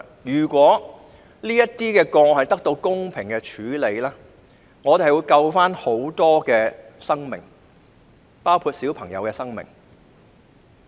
如果這些個案得到公平處理，其實可以救助很多生命，包括小朋友的生命。